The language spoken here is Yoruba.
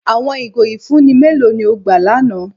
Awọn igó ifunni mẹlò ni o gbà lána?